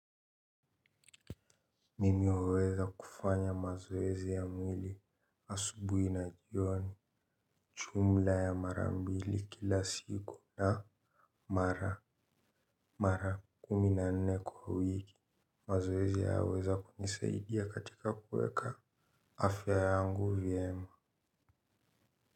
Mimi huweza kufanya mazoezi ya mwili asubuhi na jioni jumla ya marambili kila siku na mara mara kumi na nne kwa wiki. Mazoezi haya huweza kunisaidia katika kuweka afya yangu vyema.